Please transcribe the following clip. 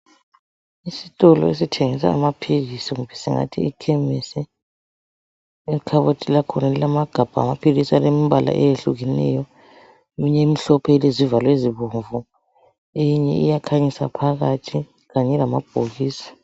Isitolo esithengisa amaphilisi kumbe singathi ikhemisi. Ikhabothi lakhona ilamagabha lamaphilisi alombala eyehlukeneyo eminye imhlophe ilezivalo ezibomvu eyinye iyakhanyisa phakathi kanye lamabhokisi.